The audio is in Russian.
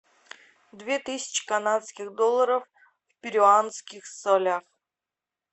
две тысячи канадских долларов в перуанских солях